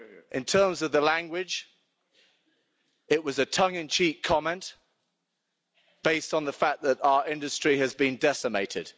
In terms of the language, it was a tongue in cheek comment based on the fact that our industry has been decimated.